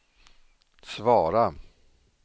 svara